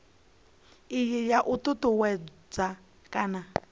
iyi ya u ṱuṱuwedza kana